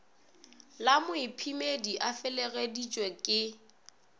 la moiphemedi a felegeditšwe ke